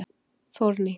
Þórný